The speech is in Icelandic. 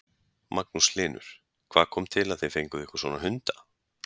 Magnús Hlynur: Hvað kom til að þið fenguð ykkur svona hunda?